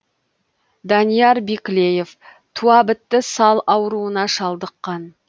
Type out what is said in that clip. данияр биклеев туа бітті сал ауруына шалдыққан